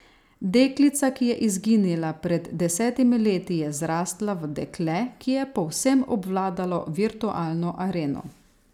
Deklica, ki je izginila pred desetimi leti, je zrasla v dekle, ki je povsem obvladalo virtualno areno.